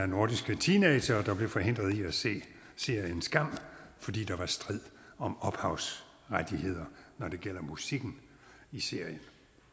nordiske teenagere der blev forhindret i at se serien skam fordi der var strid om ophavsrettighederne når det gjaldt musikken i serien